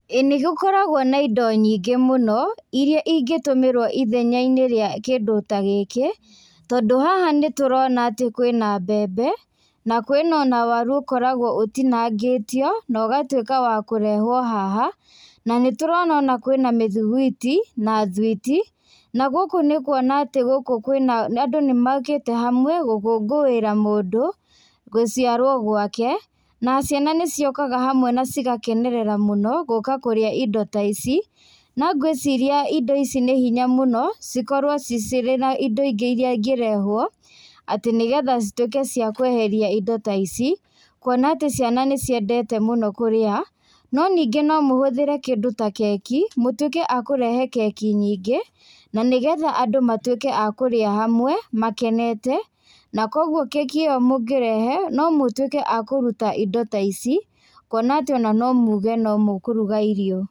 Ĩĩ nĩgũkoragwo na indo nyingĩ mũno, iria ingĩtumĩrwo ithenyainĩ rĩa kindũ ta gĩkĩ, tondũ haha nĩtũrona atĩ kwĩna mbembe, na kwĩna ona waru ũkoragwo ũtinagĩtio, na ũgatuĩka wa kũrehwo haha, na nĩtũrona ona kwĩna mĩthugwiti, na thwiti, na gũkũ nĩkuona atĩ gũkũ kwĩna andũ nĩmokĩte hamwe, gũkũngũĩra mũndũ, guciarwo gwake, na ciana nĩciũkaga hamwe na cigakenerera mũno, gũka kũrĩa indo ta ici, no ngwĩciria indo ici nĩ hinya mũno, cikorwo ci cirĩ na indo ingĩ iria ingĩrehwo atĩ nĩgetha cituĩka cia kweheria indo ta ici, kuona atĩ ciana nĩciendete mũno karĩa, no nĩngĩ no mũhũthĩre kĩndũ ta keki, mũtuĩke a kũrehe keki nyingĩ, na nĩgetha andũ matuĩke a kũrĩa hamwe, makenete, na koguo keki ĩyo mũngĩrehe, no mũtuĩke a kũruta indo ta ici, kuona atĩ no mũge no mũkũruga irio.